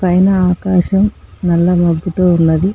పైనా ఆకాశం నల్ల మబ్బుతో ఉన్నది.